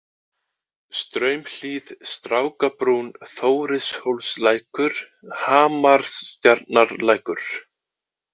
Straumhlíð, Strákabrún, Þórishólslækur, Hamarstjarnarlækur